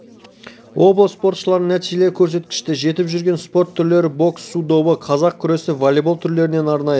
облыс спортшыларының нәтижелі көрсеткішке жетіп жүрген спорт түрлері бокс су добы қазақ күресі волейбол түрлерінен арнайы